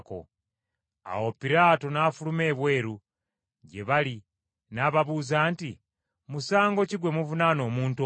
Awo Piraato n’afuluma ebweru gye baali n’ababuuza nti, “Musango ki gwe muvunaana omuntu ono?”